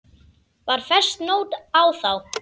Var fest nót á þá.